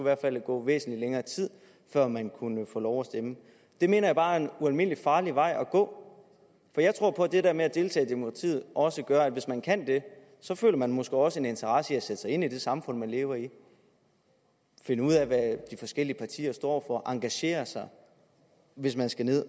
hvert fald gå væsentlig længere tid før man kunne få lov at stemme det mener jeg bare er en ualmindelig farlig vej at gå for jeg tror på at det der med at deltage i demokratiet også gør at hvis man kan det så føler man måske også en interesse i at sætte sig ind i det samfund man lever i og finde ud af hvad de forskellige partier står og engagere sig hvis man skal ned